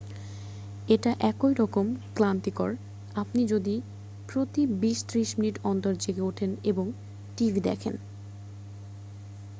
এটা এই রকম ক্লান্তিকর আপনি যদি প্রতি বিশ-ত্রিশ মিনিট অন্তর জেগে উঠেন এবং টিভি দেখন